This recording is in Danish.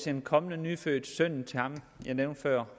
en kommende nyfødt søn til ham jeg nævnte før